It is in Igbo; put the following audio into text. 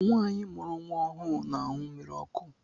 Nwanyi mụrụ nwa ọhụụ n'añu mmírí ọkụ.